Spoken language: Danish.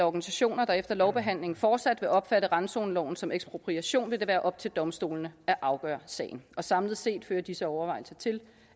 organisationer der efter lovbehandlingen fortsat vil opfatte randzoneloven som ekspropriation vil det være op til domstolene at afgøre sagen samlet set fører disse overvejelser til